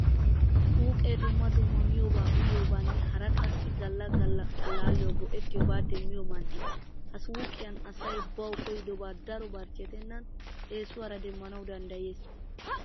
Suuqe dumma dumma miyoba uyiyobanne hara qassi galla galla allaalliyawu goettiyobata demmiyo man'e. Ha suuqqiyan asay bawu koyidoba daro barchchettenan esuwaara demmanawu danddayees.